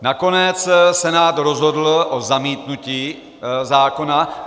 Nakonec Senát rozhodl o zamítnutí zákona.